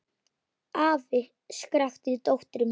Afi! skrækti dóttir mín.